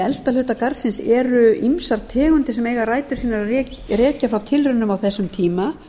elsta hluta garðsins eru ýmsar tegundir sem eiga rætur sínar að rekja frá tilraunum á þessum tíma